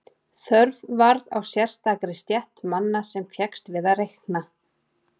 Þörf varð á sérstakri stétt manna sem fékkst við að reikna.